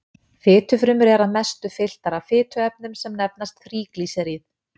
Fitufrumur eru að mestu fylltar af fituefnum sem nefnast þríglýseríð.